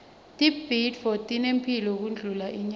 tibhidvo tinemphilo kundlula inyama